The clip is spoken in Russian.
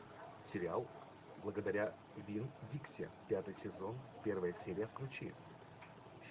сериал благодаря винн дикси пятый сезон первая серия включи